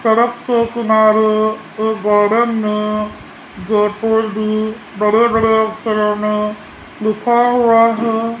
सड़क के किनारे एक गार्डन में बड़े बड़े अक्षरों में लिखा हुआ है।